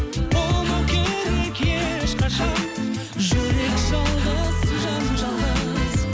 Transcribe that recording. болмау керек ешқашан жүрек жалғыз жан жалғыз